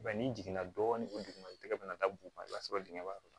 n'i jiginna dɔɔnin ko duguma i tɛgɛ bɛna da buguma i b'a sɔrɔ dingɛn yɔrɔ dɔ